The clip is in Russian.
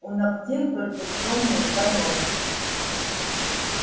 у ногтей только тёмные каёмки